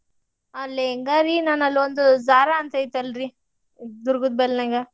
ಆ lehanga ರೀ ನಾನ್ ಅಲ್ಲೊಂದು zara ಅಂತ್ ಐತೆಲ್ರೀ ದುರ್ಗದ್ ಬೈಲ್ ನ್ಯಾಗ.